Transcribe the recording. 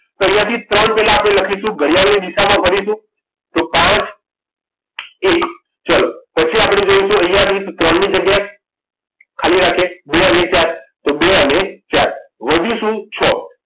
તો અહીંયા થી ત્રણ આપણે લખીશું ઘડિયાળની દિશામાં કરીશું તો પાંચ એક ચલો પછી આપણે જોઇશું અહીંયા રીત ત્રણ ની જગ્યા ખાલી રાખીએ બે અને ચાર તો બે અને ચાર વધ્યું શું છો